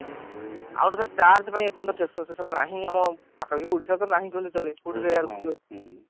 ଆଉ8 ଗୋଟେ କଥା charge ପାଇଁ ଏଇ ପର୍ଯ୍ୟନ୍ତ station ନାହିଁ ଆମ ପାଖା ପାଖି ଓଡିଶାରେ ଟା ନାହିଁ ଜମା କହିଲେ ଚଳେ ବହୁତ rare